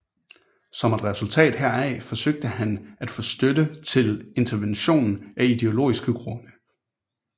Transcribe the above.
Som et resultat heraf forsøgte han at få støtte til intervention af ideologiske grunde